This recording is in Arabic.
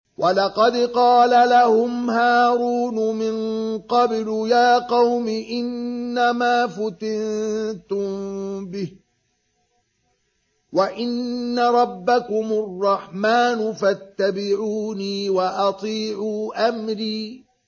وَلَقَدْ قَالَ لَهُمْ هَارُونُ مِن قَبْلُ يَا قَوْمِ إِنَّمَا فُتِنتُم بِهِ ۖ وَإِنَّ رَبَّكُمُ الرَّحْمَٰنُ فَاتَّبِعُونِي وَأَطِيعُوا أَمْرِي